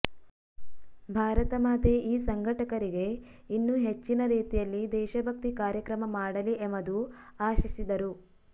ಭಾರತ ಮಾತೆ ಈ ಸಂಘಟಕರಿಗೆ ಇನ್ನು ಹೆಚ್ಚಿನ ರೀತಿಯಲ್ಲಿ ದೇಶಭಕ್ತಿ ಕಾರ್ಯಕ್ರಮ ಮಾಡಲಿ ಎಮದು ಆಶಿಸಿದರು